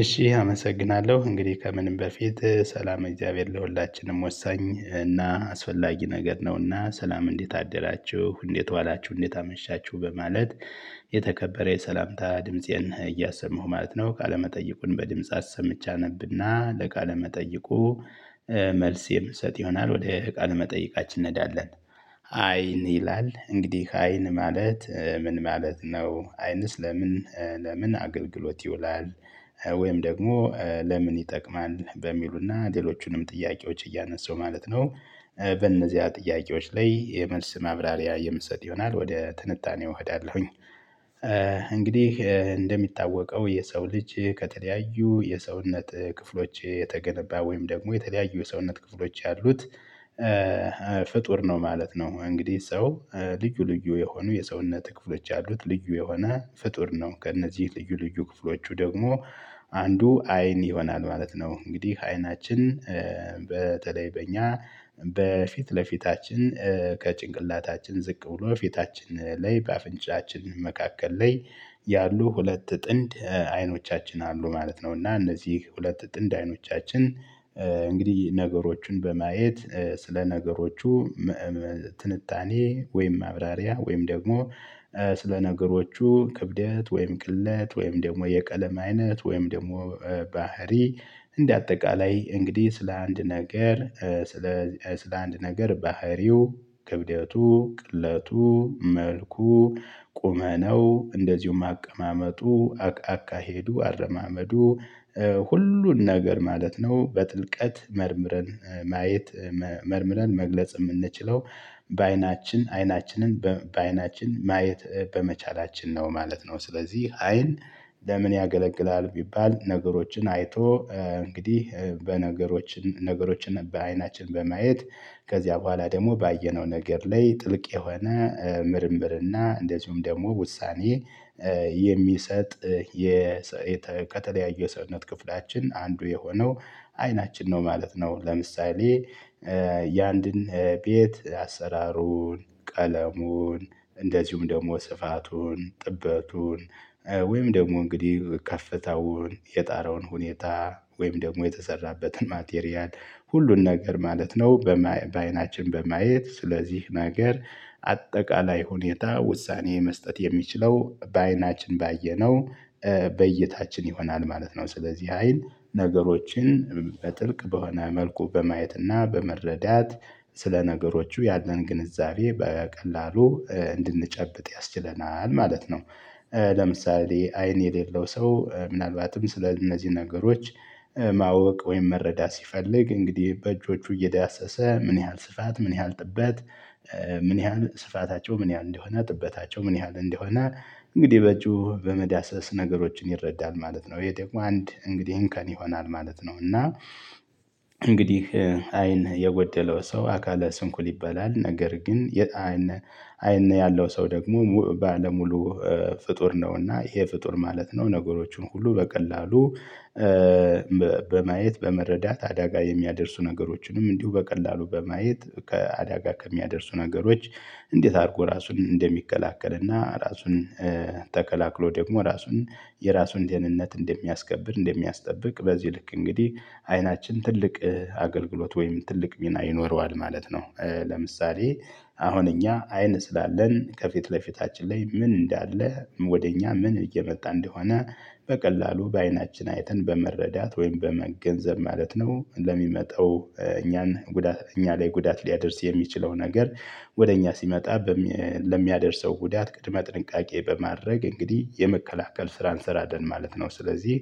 እሺ አመሰግናለሁ እንግዲህ ከምንም በፊት ሰላመ እግዚአብሔር ለሁላችንም ወሳኝ እና አስፈላጊ ነገር ነውና። ሰላም እንዴት አደራችሁ እንዴት ዋላችሁ እንዴት አመሻችሁ በማለት የተከበረ የሰላምታ ድምፄን እያሰማሁ ማለት ነው። ካለመጠይቁን በድምጽ አሰምቼ አነብና ለካለመጠየቁ መልስ የምሰጥ ይሆናል ወደ ቃለ መጠየቃችን እንሄዳለን። አይን ይላል እንግዲህ አይን ማለት ምን ማለት ነው? አይንስ ለምን ለምን አገልግሎት ይውላል? ወይም ደግሞ ለምን ይጠቅማል በሚሉና ሌሎቹንም ጥያቄዎች እያነሳሁ ማለት ነው። በእነዚያ ጥያቄዎች ላይ የመልስ ማብራሪያ የምሰጥ ይሆናል ወደ ትንታኔው እሄዳለሁኝ። እንግዲህ እንደሚታወቀው የሰው ልጅ ከተለያዩ የሰውነት ክፍሎች የተገነባ ወይም ደግሞ የተለያዩ የሰውነት ክፍሎች ያሉት ፍጡር ነው ማለት ነው። እንግዲህ ሰው ልዩ ልዩ የሆኑ የሰውነት ክፍሎች ያሉት ልዩ የሆነ ፍጡር ነው። ከእነዚህ ልዩ ልዩ ክፍሎቹ ደግሞ አንዱ አይን ይሆናል ማለት ነው። እንግዲህ አይናችን በተለይ በእኛ በፊት ለፊታችን ከጭንቅላታችን ዝቅ ብሎ ፊታችን ላይ በአፍንጫችን መካከል ላይ ያሉ ሁለት ጥንድ አይኖቻችን አሉ ማለት ነው። እና እነዚህ ሁለት ጥንድ አይኖቻችን እንግዲህ ነገሮችን በማየት ስለ ነገሮቹ ትንታኔ ወይም ማብራሪያ ወይም ደግሞ ስለ ነገሮቹ ክብደት ወይም ቅለት ወይም ደግሞ የቀለም አይነት ወይም ደግሞ ባህሪ እንደ አጠቃላይ እንግዲህ ስለ አንድ ነገር ስለ ስለ አንድ ነገር ባህሪው ክብደቱ ቅለቱ መልኩ ቁመናው እንደዚሁም አቀማመጡ አቃቃ አካሄዱ አረማመዱ ሁሉን ነገር ማለት ነው በጥልቀት መርምረን ማየት መርምረን መግለጽ የምንችለው በአይናችን አይናችንን በአይናችን ማየት በመቻላችን ነው ማለት ነው። ስለዚህ አይን ለምን ያገለግላል? ቢባል ነገሮችን አይቶ እንግዲህ በነገሮች ነገሮችን በአይናችን በማየት ከዚያ በኋላ ደግሞ ባየነው ነገር ላይ ጥልቅ የሆነ ምርምርና እንደዚሁም ደግሞ ውሳኔ የሚሰጥ ከተለያዩ የሰውነት ክፍላችን አንዱ የሆነው አይናችን ነው ማለት ነው። ለምሳሌ የአንድን ቤት አሰራሩን ቀለሙን እንደዚሁም ደግሞ ስፋቱን ጥበቱን ወይም ደግሞ እንግዲህ ከፍታውን የጣራውን ሁኔታ ወይም ደግሞ የተሰራበትን ማቴሪያል ሁሉን ነገር ማለት ነው። በአይናችን በማየት ስለዚህ ነገር አጠቃላይ ሁኔታ ውሳኔ መስጠት የሚችለው በአይናችን ባየነው በእይታችን ይሆናል ማለት ነው። ስለዚህ አይን ነገሮችን በጥልቅ በሆነ መልኩ በማየትና በመረዳት ስለነገሮቹ ያለን ግንዛቤ በቀላሉ እንድንጨብጥ ያስችለናል ማለት ነው። ለምሳሌ አይን የሌለው ሰው ምናልባትም ስለእነዚህ ነገሮች ማወቅ ወይም መረዳት ሲፈልግ እንግዲህ በእጆቹ እየዳሰሰ ምን ያህል ስፋት ምን ያህል ጥበት ምን ያህል ስፋታቸው ምን ያህል እንደሆነ ጥበታቸው ምን ያህል እንደሆነ እንግዲህ በእጁ በመዳሰስ ነገሮችን ይረዳል ማለት ነው። ይሄ ደግሞ አንድ እንግዲህ እንከን ይሆናል ማለት ነው። እና እንግዲህ አይን የጎደለው ሰው አካለ ስንኩል ይባላል። ነገር ግን አይን አይን ያለው ሰው ደግሞ ባለሙሉ ፍጡር ነውና ይሄ ፍጡር ማለት ነው። ነገሮቹን ሁሉ በቀላሉ በማየት በመረዳት አደጋ የሚያደርሱ ነገሮችንም እንዲሁ በቀላሉ በማየት ከአደጋ ከሚያደርሱ ነገሮች እንዴት አድርጎ ራሱን እንደሚከላከል እና ራሱን ተከላክሎ ደግሞ ራሱን የራሱን ደህንነት እንደሚያስከብር እንደሚያስጠብቅ በዚህ ልክ እንግዲህ አይናችን ትልቅ አገልግሎት ወይም ትልቅ ሚና ይኖረዋል ማለት ነው። ለምሳሌ አሁን እኛ አይን ስላለን ከፊት ለፊታችን ላይ ምን እንዳለ ወደ እኛ ምን እየመጣ እንደሆነ በቀላሉ በአይናችን አይተን በመረዳት ወይም በመገንዘብ ማለት ነው ለሚመጣው እኛን ጉዳት እኛ ላይ ጉዳት ሊያደርስ የሚችለው ነገር ወደ እኛ ሲመጣ ለሚያደርሰው ጉዳት ቅድመ ጥንቃቄ በማድረግ እንግዲህ የመከላከል ስራን እንሰራለን ማለት ነው። ስለዚህ